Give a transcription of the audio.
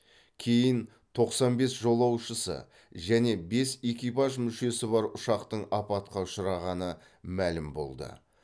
кейін тоқсан бес жолаушысы және бес экипаж мүшесі бар ұшақтың апатқа ұшырағаны мәлім болды